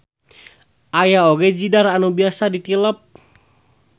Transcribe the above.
Aya oge jidar anu bisa ditilep.